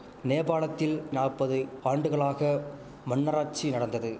நேபாளத்தில் நாப்பது ஆண்டுகளாக மன்னராச்சி நடந்தது